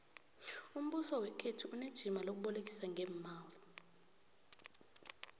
umbuso wekhethu unejima lokubolekisa ngeemali